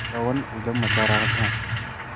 पवन ऊधम मचा रहा था